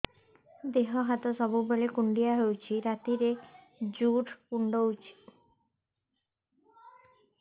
ଦେହ ହାତ ସବୁବେଳେ କୁଣ୍ଡିଆ ହଉଚି ରାତିରେ ଜୁର୍ କୁଣ୍ଡଉଚି